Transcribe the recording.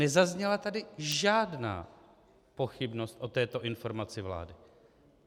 Nezazněla tady žádná pochybnost o této informaci vlády.